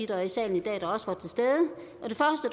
der er i salen